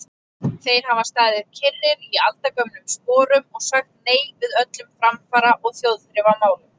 Þeir hafa staðið kyrrir í aldagömlum sporum og sagt nei við öllum framfara- og þjóðþrifamálum.